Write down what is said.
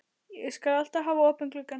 Ég skal alltaf hafa opinn gluggann.